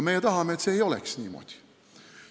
Meie tahame, et see ei oleks niimoodi.